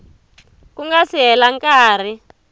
ku nga si hela nkarhi